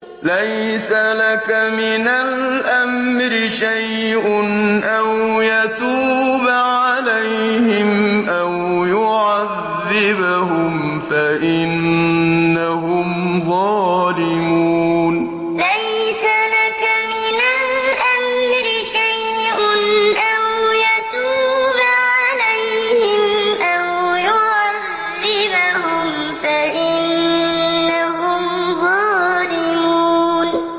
لَيْسَ لَكَ مِنَ الْأَمْرِ شَيْءٌ أَوْ يَتُوبَ عَلَيْهِمْ أَوْ يُعَذِّبَهُمْ فَإِنَّهُمْ ظَالِمُونَ لَيْسَ لَكَ مِنَ الْأَمْرِ شَيْءٌ أَوْ يَتُوبَ عَلَيْهِمْ أَوْ يُعَذِّبَهُمْ فَإِنَّهُمْ ظَالِمُونَ